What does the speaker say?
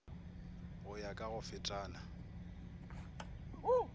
go ya ka go fetana